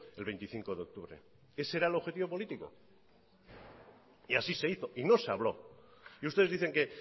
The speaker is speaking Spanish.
el veinticinco de octubre ese era el objetivo político y así se hizo y no se habló y ustedes dicen que